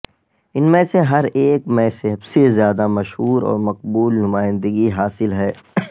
ان میں سے ہر ایک میں سب سے زیادہ مشہور اور مقبول نمائندگی حاصل ہے